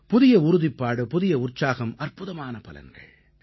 புதிய உறுதிப்பாடு புதிய உற்சாகம் அற்புதமான பலன்கள்